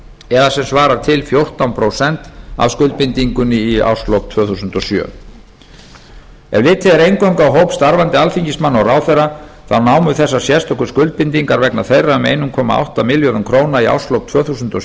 eða sem svarar til fjórtán prósent af skuldbindingunni í árslok tvö þúsund og sjö ef eingöngu er litið á hóp starfandi alþingismanna og ráðherra þá námu þessar sérstöku skuldbindingar vegna þeirra um einn komma átta milljörðum króna í árslok tvö þúsund og